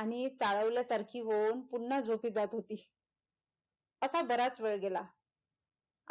आणि चाळवल्यासारखी होऊन पुनः झोपी जात होती असा बराच वेळ गेला